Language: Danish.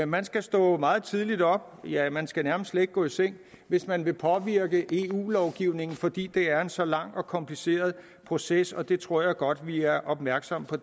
man skal stå meget tidligt op ja man skal nærmest slet ikke gå i seng hvis man vil påvirke eu lovgivningen fordi det er en så lang og kompliceret proces og det tror jeg godt vi er opmærksomme på